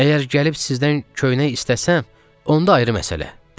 Əgər gəlib sizdən köynək istəsəm, onda ayrı məsələ, dedi.